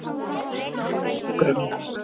Munu teppa sjúkrarúm